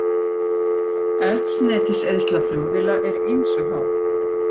Eldsneytiseyðsla flugvéla er ýmsu háð.